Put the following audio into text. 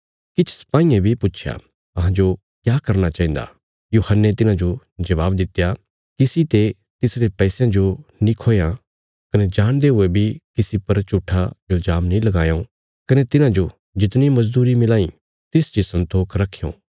किछ सपाईयें बी पुच्छया अहांजो क्या करना चाहिन्दा यूहन्ने तिन्हाजो जवाब दित्या किसी ते तिसरे पैसयां जो नीं खोयां कने जाणदे हुए बी किसी पर झूट्ठा इल्जाम नीं लगायों कने तुहांजो जितणी मजदूरी मिलांई तिसच इ सन्तोख रखयों